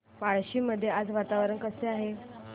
पळशी मध्ये आज वातावरण कसे आहे